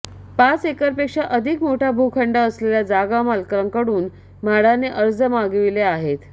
पाच एकरपेक्षा अधिक मोठा भूखंड असलेल्या जागामालकांकडून म्हाडाने अर्ज मागविले आहेत